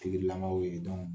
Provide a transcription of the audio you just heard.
lamaw ye